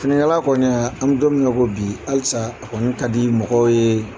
Finikala kɔni an bƐ don min komi bi halisa a kɔni ka di mɔgɔw ye